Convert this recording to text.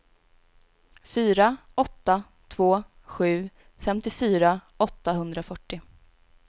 fyra åtta två sju femtiofyra åttahundrafyrtio